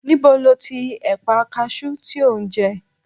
Níbo lo ti ẹ̀pà kaṣú tí o ń jẹ?